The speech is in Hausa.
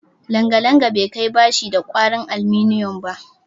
Langalanga bai kai bashi da kwarin aluminiyum ba